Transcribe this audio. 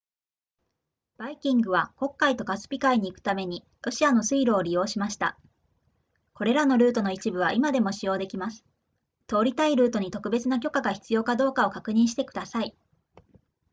バイキングは黒海とカスピ海に行くためにロシアの水路を利用しましたこれらのルートの一部は今でも使用できます通りたいルートに特別な許可が必要かどうかを確認してください